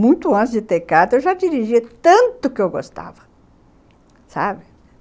Muito antes de ter carta, eu já dirigia tanto que eu gostava.